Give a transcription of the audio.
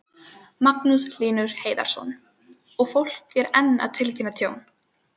Magnús Hlynur Hreiðarsson: Og fólk er enn að tilkynna tjón?